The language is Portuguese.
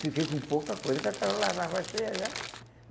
Fiquei com pouca coisa, que a cara lavava cheia já.